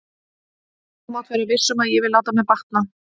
Og þú mátt vera viss um að ég vil láta mér batna.